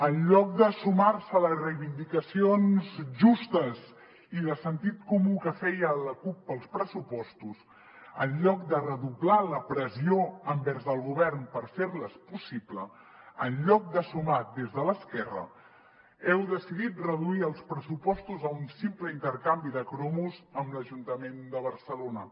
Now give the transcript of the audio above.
en lloc de sumar se a les reivindicacions justes i de sentit comú que feia la cup per als pressupostos en lloc de doblar la pressió envers el govern per fer les possibles en lloc de sumar des de l’esquerra heu decidit reduir els pressupostos a un simple intercanvi de cromos amb l’ajuntament de barcelona